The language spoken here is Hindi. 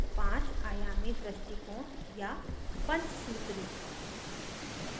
पांच आयामी दृष्टिकोण या panchsutri